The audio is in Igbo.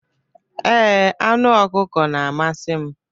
Ee, anụ ọkụkọ na-amasị m.